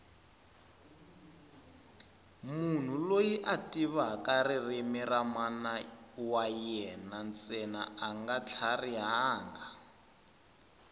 munhu loyi a tivaka ririmi ra mana yena ntsena anga tlharihangi